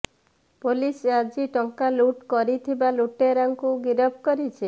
police ଆଜି ଟଙ୍କା ଲୁଟ୍ କରିଥିବା ଲୁଟେରାକୁ ଗିରଫ କରିଛି